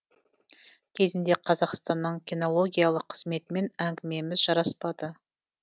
кезінде қазақстанның кинологиялық қызметімен әңгімеміз жараспады